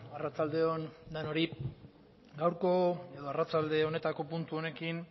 arratsalde on denoi gaurko edo arratsalde honetako puntu honekin